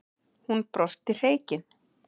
Hún brosti hreykin.